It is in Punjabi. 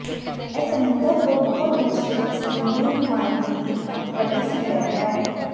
ਇਹ ਸਮੁੰਦਰ ਤੋਂ ਬਹੁਤ ਦੂਰ ਸਥਿਤ ਸਮੁੰਦਰੀ ਨੁਮਾਇੰਦਿਆਂ ਦੀ ਇੱਕ ਵੱਡੀ ਸੰਗ੍ਰਹਿ ਹੈ